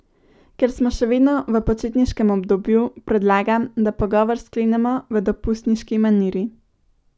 Ker smo še vedno v počitniškem obdobju, predlagam, da pogovor sklenemo v dopustniški maniri.